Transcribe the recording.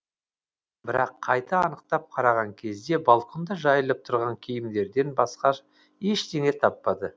бірақ қайта анықтап қараған кезде балконда жайылып тұрған киімдерден басқа ештеңе таппады